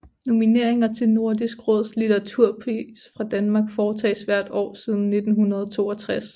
Nomineringer til Nordisk Råds litteraturpris fra Danmark foretages hvert år siden 1962